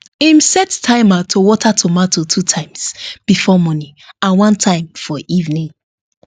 him set timer to water tomato two times before morning and one time for evening